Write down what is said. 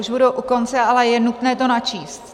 Už budu u konce, ale je nutné to načíst.